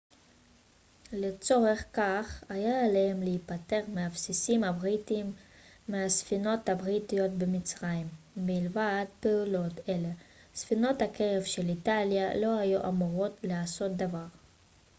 לצורך כך היה עליהם להיפטר מהבסיסים הבריטיים ומהספינות הבריטיות במצרים מלבד פעולות אלה ספינות הקרב של איטליה לא היו אמורות לעשות דבר